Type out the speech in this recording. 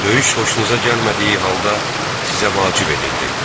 Döyüş xoşunuza gəlmədiyi halda sizə vacib edildi.